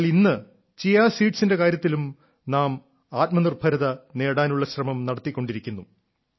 എന്നാൽ ഇന്ന് ചിയാ സീഡ്സിന്റെ കാര്യത്തിലും നാം ആത്മനിർഭരത നേടാനുള്ള ശ്രമം നടത്തിക്കൊണ്ടിരിക്കുന്നു